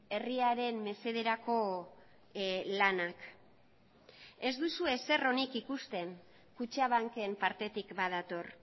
herriaren mesederako lanak ez duzue ezer onik ikusten kutxabanken partetik badator